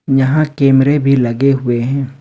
यहां कैमरे भी लगे हुए हैं।